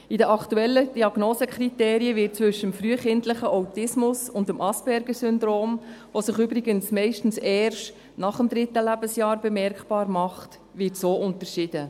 So wird in den aktuellen Diagnosekriterien zwischen frühkindlichem Autismus und Aspergersyndrom, das sich übrigens meist erst nach dem dritten Lebensjahr bemerkbar macht, unterschieden.